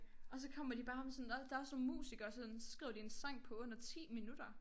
Og så kommer de bare med sådan der der også nogle musikere sådan så skriver de en sang på under 10 minutter